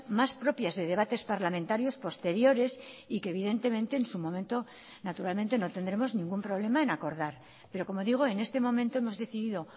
más propias de debates parlamentarios posteriores y que evidentemente en su momento naturalmente no tendremos ningún problema en acordar pero como digo en este momento hemos decidido